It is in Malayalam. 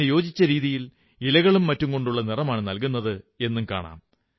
അതിനു യോജിച്ച രീതിയിൽ ഇലകളും മറ്റുംകൊണ്ടുള്ള നിറമാണു നൽകുന്നത് എന്നും കാണാം